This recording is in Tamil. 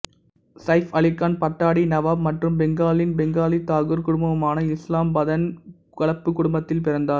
சைஃப் அலிகான் பட்டாடி நவாப் மற்றும் பெங்காலின் பெங்காலி தாகூர் குடும்பமுமான இஸ்லாம் பதன் கலப்பு குடும்பத்தில் பிறந்தார்